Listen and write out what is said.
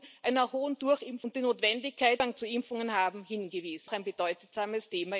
Gesundheit seiner Bürgerinnen und Bürger ganz hoch oben auf seine Agenda.